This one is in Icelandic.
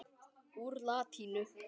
Úr latínu